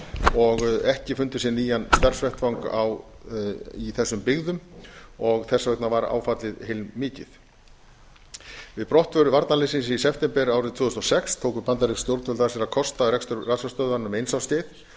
og ekki fundið sér nýjan starfsvettvang í þessum byggðum og þess vegna varð áfallið heilmikið við brottför varnarliðsins í september árið tvö þúsund og sex tóku bandarísk stjórnvöld að sér að kosta rekstur rannsóknarstöðvarinnar um eins árs skeið en